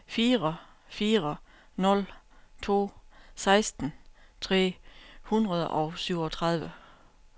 fire fire nul to seksten tre hundrede og syvogtredive